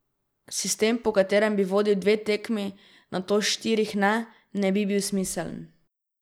Sistem, po katerem bi vodil dve tekmi, nato štirih ne, ne bi bil smiseln.